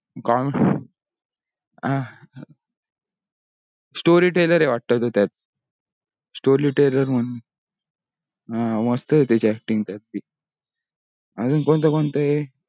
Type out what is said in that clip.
story teller आहे तो वाटतो त्यात story teller म्हणून अं मस्त आहे त्याची acting त्यात भी. अजून कोणते कोणत हे अह